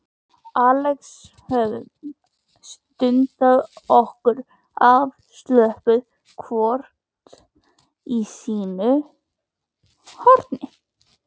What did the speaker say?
Axel höfum dundað okkur afslöppuð hvort í sínu horni.